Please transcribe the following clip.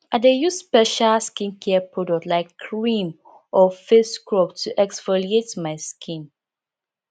i dey use special skincare product like cream or face scrub to exfoliate my skin